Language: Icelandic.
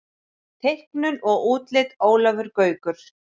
Teiknun og útlit Ólafur Gaukur.